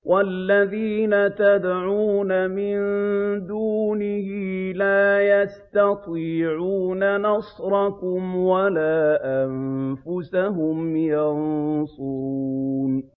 وَالَّذِينَ تَدْعُونَ مِن دُونِهِ لَا يَسْتَطِيعُونَ نَصْرَكُمْ وَلَا أَنفُسَهُمْ يَنصُرُونَ